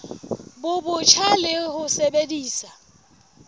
bo botjha le ho sebedisa